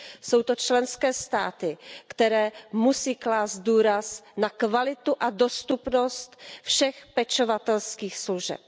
Jsou to členské státy, které musí klást důraz na kvalitu a dostupnost všech pečovatelských služeb.